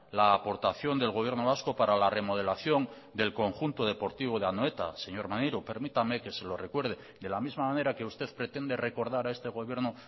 la aportación del gobierno vasco para la remodelación del conjunto deportivo de anoeta señor maneiro permítame que se lo recuerde de la misma manera que usted pretende recordar a este gobierno